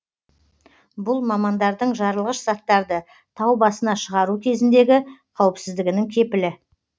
бұл мамандардың жарылғыш заттарды тау басына шығару кезіндегі қауіпсіздігінің кепілі